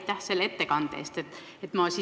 Aitäh selle ettekande eest!